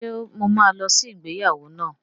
Ṣe mo ma lọ sí ìgbéyàwó náà?